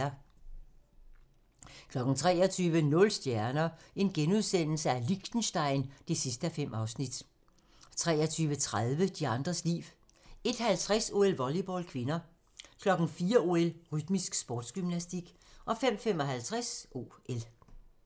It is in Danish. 23:00: Nul stjerner - Liechtenstein (5:5)* 23:30: De andres liv 01:50: OL: Volleyball (k) 04:00: OL: Rytmisk sportsgymnastik 05:55: OL